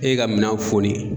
E ka minan foni.